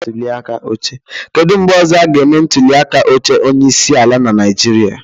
Kedu mgbe ọzọ a ga-eme ntuliaka oche onyeisi ala na Naịjịrịa?